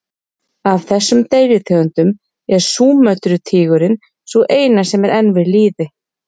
Af þessum deilitegundum er Súmötru-tígurinn sú eina sem er enn við lýði.